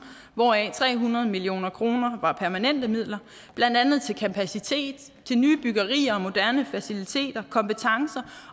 hvoraf tre hundrede million kroner var permanente midler blandt andet til kapacitet til nye byggerier og moderne faciliteter kompetencer